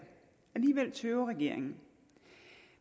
alligevel tøver regeringen